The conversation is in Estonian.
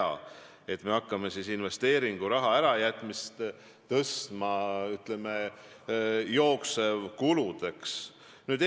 Ma ei pea õigeks, et me hakkame investeeringuraha tõstma jooksvate kulude alla.